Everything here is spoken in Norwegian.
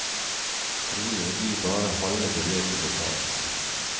Trolig blir bare halve beløpet betalt.